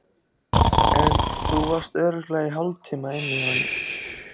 En þú varst örugglega í hálftíma inni hjá henni.